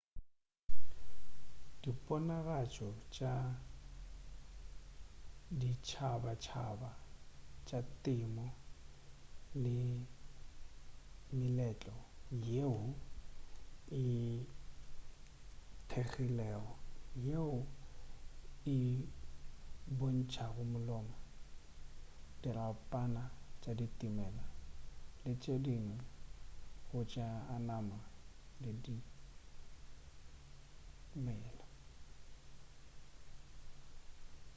diponagatšo tša ditšhabatšhaba tša temo ke meletlo yeo e kgethegilego yeo e bontšago malomo dirapana tša dimela le tše dingwe tša go amana le dimela